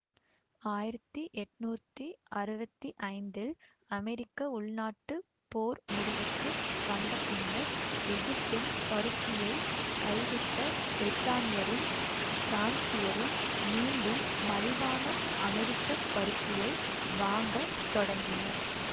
ஆயிரத்தி எட்ணூத்தி அறுவத்தி ஐந்தில் அமெரிக்க உள்நாட்டுப் போர் முடிவுக்கு வந்தபின்னர் எகிப்தின் பருத்தியைக் கைவிட்ட பிரித்தானியரும் பிரான்சியரும் மீண்டும் மலிவான அமெரிக்க பருத்தியை வாங்க தொடங்கினர்